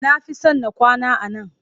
Na fi son na kwana a nan